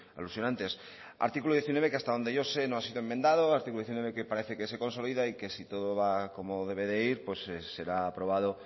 alusión antes artículo diecinueve que hasta que yo sé no ha sido enmendado artículo diecinueve que parece que se consolida y que si todo va como debe de ir será aprobado